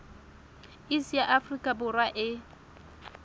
iss ya afrika borwa e